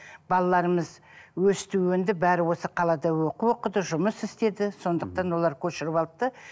балаларымыз өсті өнді бәрі осы қалада оқу оқыды жұмыс істеді сондықтан олар көшіріп алды да